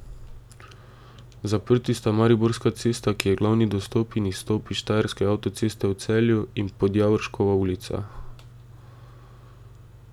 Zaprti sta Mariborska cesta, ki je glavni dostop in izstop s štajerske avtoceste v Celju, in Podjavorškova ulica.